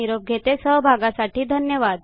आपल्या सहभागासाठी धन्यवाद